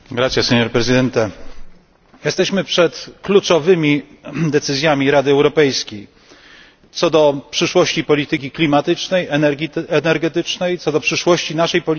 Jesteśmy przed kluczowymi decyzjami Rady Europejskiej dotyczącymi przyszłości polityki klimatycznej, energetycznej, przyszłości naszej polityki gospodarczej w Unii Europejskiej.